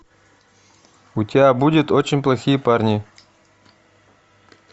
у тебя будет очень плохие парни